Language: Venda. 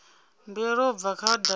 mbuelo u bva kha datumu